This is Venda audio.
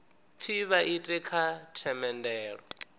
pfi vha ite kha themendelo